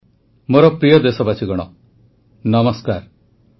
ଔଷଧୀୟ ଗଛ ଲଗାଇଥିବା ଓଡ଼ିଶା କଳାହାଣ୍ଡିର ପଟାୟତ ସାହୁଙ୍କୁ ପ୍ରଧାନମନ୍ତ୍ରୀଙ୍କ ପ୍ରଶଂସା